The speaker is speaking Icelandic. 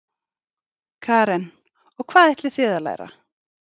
Karen: Og hvað ætlið þið að læra?